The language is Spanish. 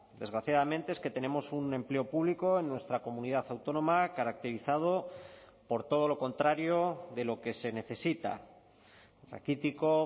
desgraciadamente es que tenemos un empleo público en nuestra comunidad autónoma caracterizado por todo lo contrario de lo que se necesita raquítico